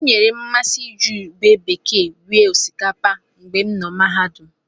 O nyeere m mmasị iji ube bekee rie osikapa mgbe m nọ mahadum.